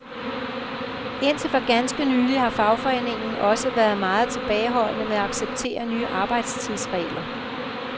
Indtil for ganske nylig har fagforeningen også været meget tilbageholdende med at acceptere nye arbejdstidsregler.